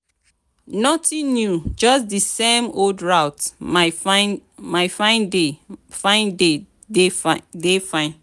nothing new just di same old route my fine dey fine dey fine.